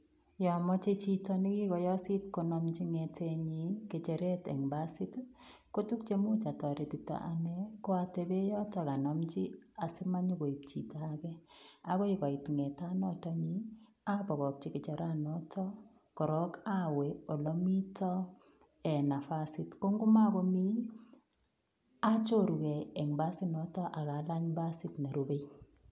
Yomoche chito nekikoyosit konamji ng'etenyin ng'echeret en basit kotuk cheimuch otoretito ko Steven yotok anomchi simonyokoib chito akee akoi koit ng'etaaton nyiin abokokyi ng'echeranoton korok awee olemiito en nafasit, ko ng'omokomii achoruke en basit noton ak alany basit nerube.